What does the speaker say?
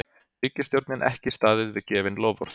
Ríkisstjórnin ekki staðið við gefin loforð